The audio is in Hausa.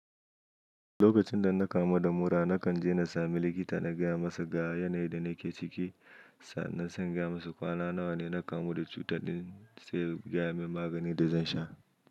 Lokacin da na kamu da mura, na kan je na sami likita na gaya masa ga yanayin da nake ciki, sannan sai na gaya masa kwana nawa ne na kamu da cutar ɗin, sai ya gaya min maganin da zan sha.